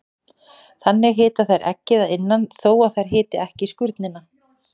Þannig hita þær eggið að innan þó að þær hiti ekki skurnina.